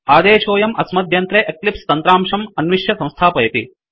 आदेशोऽयं अस्मद्यन्त्रे एक्लिप्स तन्त्रांशं अन्विश्य संस्थापयति